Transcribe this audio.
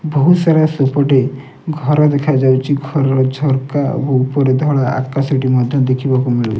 ବହୁତ୍ ସାରା ସେପଟେ ଘର ଦେଖାଯାଉଚି ଘରର ଝରକା ଓ ଉପର ଧଳା ଆକାଶଟି ମଧ୍ୟ ଦେଖିବାକୁ ମିଳୁ --